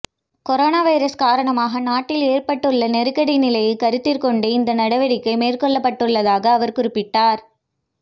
corona virus காரணமாக நாட்டில் ஏற்பட்டுள்ள நெருக்கடி நிலையைக் கருத்திற்கொண்டு இந்த நடவடிக்கை மேற்கொள்ளப்பட்டுள்ளதாக அவர் குறிப்பிட்டார்